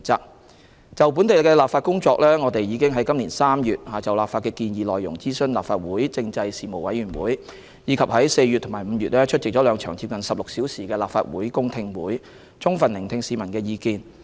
關於本地的立法工作，我們已於今年3月就立法的建議內容諮詢立法會政制事務委員會，以及在4月及5月出席兩場接近16小時的立法會公聽會，充分聆聽市民的意見。